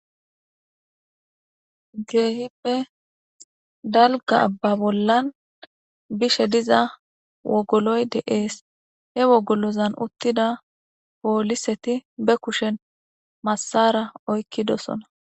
Keehippe dalga abba bollan bishe diza wogoloy deees he wogolozan uttida pooliseti be kushen massara oykkidosona